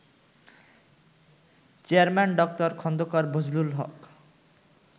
chairman Dr Khandakar Bazlul Haque